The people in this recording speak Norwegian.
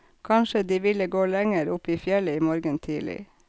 Kanskje de ville gå lenger opp i fjellet i morgen tidlig.